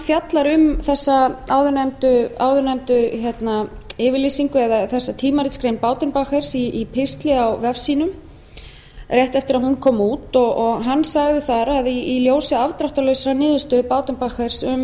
fjallar um þessa áður nefndu yfirlýsingu eða þessa tímaritsgrein baudenbacher í pistli á vef sínum rétt eftir að hún kom út og hann sagði þar að í ljósi afdráttarlausrar niðurstöðu baudenbacher um